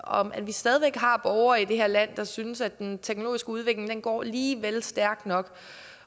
om at vi stadig væk har borgere i det her land der synes at den teknologiske udvikling går lige vel stærkt nok